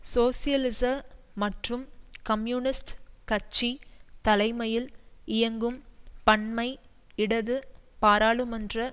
சோசியலிச மற்றும் கம்யூனிஸ்ட் கட்சி தலைமையில் இயங்கும் பன்மை இடது பாராளுமன்ற